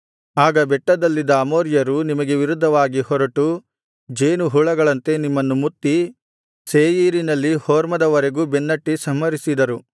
ಆಗ ಬೆಟ್ಟದಲ್ಲಿದ್ದ ಅಮೋರಿಯರು ನಿಮಗೆ ವಿರುದ್ಧವಾಗಿ ಹೊರಟು ಜೇನುಹುಳಗಳಂತೆ ನಿಮ್ಮನ್ನು ಮುತ್ತಿ ಸೇಯೀರಿನಲ್ಲಿ ಹೊರ್ಮದ ವರೆಗೂ ಬೆನ್ನಟ್ಟಿ ಸಂಹರಿಸಿದರು